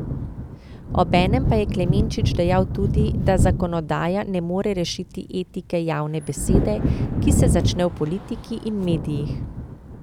Obenem pa je Klemenčič dejal tudi, da zakonodaja ne more rešiti etike javne besede, ki se začne v politiki in medijih.